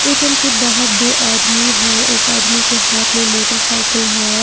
ATM के बाहर दो आदमी है एक आदमी के हाथ में मोटरसायकल है।